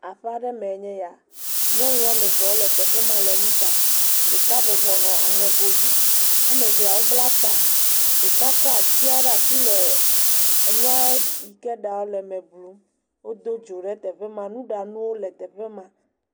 Aƒaa ɖe mee nye ya, nyɔnu wɔme ve wonɔ teƒe ma le nu ɖam, ɖeka bɔbɔ nɔ aŋego dzi, woame vea wobla ta, ɖeka kɔ atsia ɖa si le enua yike ɖaa le le me blum, wodo dzo ɖe afi ma, nuɖanuwo le teƒe ma.